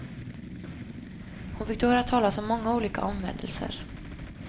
Hon fick då höra talas om många olika omvändelser.